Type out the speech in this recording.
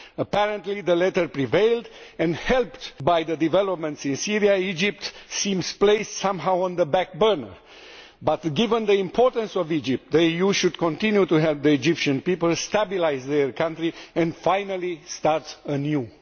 Apparently the latter prevailed, and thanks to the developments in Syria Egypt seems placed somehow on the back burner. However, given the importance of Egypt, the EU should continue to help the Egyptian people to stabilise their country and finally start anew.